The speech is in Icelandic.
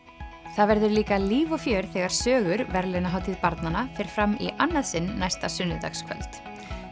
það verður líka líf og fjör þegar sögur verðlaunahátíð barnanna fer fram í annað sinn næsta sunnudagskvöld